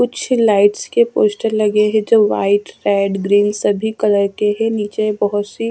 कुछ लाइट्स के पोस्टर लगे है जो वाइट रेड ग्रीन सभी कलर के है नीचे बहुत सी --